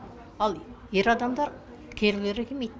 ал ер адамдар келгілері келмейді